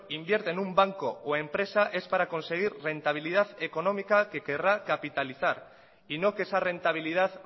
invierte en un banco o empresa es para conseguir rentabilidad económica que querrá capitalizar y no que esa rentabilidad